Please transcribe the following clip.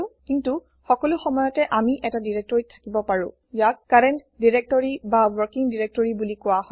কিন্তু সকলো সময়তে আমি এটা directoryত থাকিব পাৰো ইয়াক কাৰেণ্ট ডাইৰেক্টৰী বা ৱৰ্কিং ডাইৰেক্টৰী বুলি কোৱা হয়